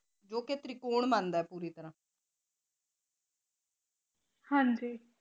ਹਾਜੀ